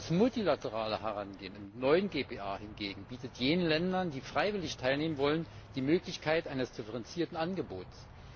Das multilaterale Herangehen im neuen GPA hingegen bietet jenen Ländern, die freiwillig teilnehmen wollen, die Möglichkeit eines differenzierten Angebots.